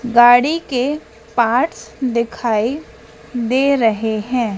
गाड़ी के पार्ट्स दिखाई दे रहें हैं।